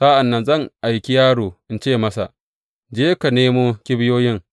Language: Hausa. Sa’an nan zan aiki yaro in ce masa, Je ka nemo kibiyoyin.’